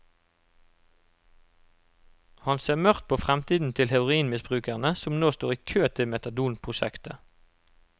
Han ser mørkt på fremtiden til heroinmisbrukerne som nå står i kø til metadonprosjektet.